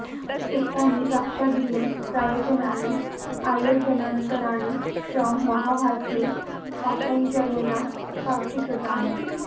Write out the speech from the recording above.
एतानि रक्षादीनि प्रयोजनानि अयोजनान्तराणि च महाभाष्ये पतञ्जलिना स्पष्टीकृतानि